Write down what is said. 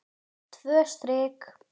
Tvö strik.